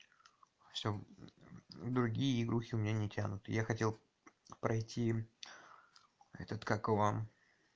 всё другие игры у меня не тянут я хотел пройти этот как его